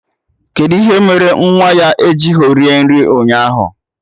Kedụ ihe mere nwa ya ejighọ rie nri ụnyaahụ